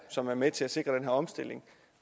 som er med til at sikre den her omstilling